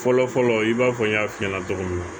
Fɔlɔ fɔlɔ i b'a fɔ n y'a f'i ɲɛna cogo min na